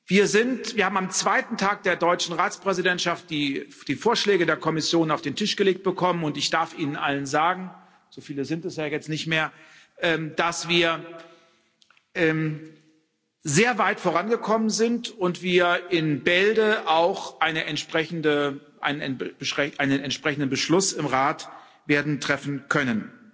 Wir haben am zweiten Tag der deutschen Ratspräsidentschaft die Vorschläge der Kommission auf den Tisch gelegt bekommen, und ich darf Ihnen allen sagen so viele sind es ja jetzt nicht mehr dass wir sehr weit vorangekommen sind und in Bälde auch einen entsprechenden Beschluss im Rat werden treffen können.